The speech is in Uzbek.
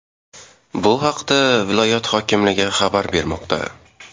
Bu haqda viloyat hokimligi xabar bermoqda .